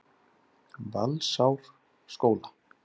Valsárskóla